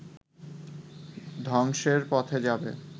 ধ্বংসের পথে যাবে